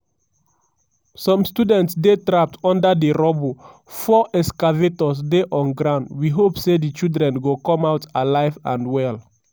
some students dey trapped under di rubble four excavators dey on ground we hope say di children go come out alive and well."